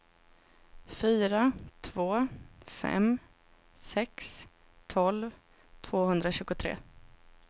fyra två fem sex tolv tvåhundratjugotre